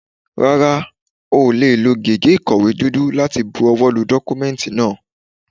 Rárá, o ò lè lo gègé ìkọ̀wé dúdú láti bu ọwọ́ lu dọ́kúmẹ́ǹtì náà.